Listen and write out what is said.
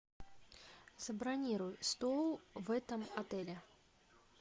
забронируй стол в этом отеле